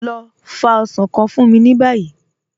Lọ fá osàn kàn fún mí ní báyì.